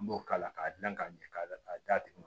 An b'o k'a la k'a dilan k'a ɲɛ k'a la d'a tigi ma